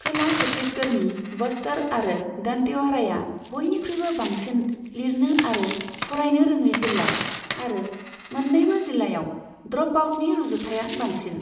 खोला छत्तीसगढ़नि बस्तर आरो दन्तेवाड़ाया बयनिख्रुइबो बांसिन लिरनो आरो फरायनो रोङै जिल्ला आरो मोननैबो जिल्लायाव ड्र'पआउटनि रुजुथाया बांसिन।